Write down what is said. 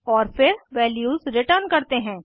और फिर values return करते हैं